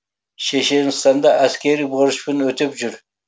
шешенстанда әскери борышын өтеп жүр